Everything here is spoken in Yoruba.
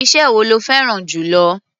Iṣẹ́ wo lo fẹ́rá̀n jù lọ?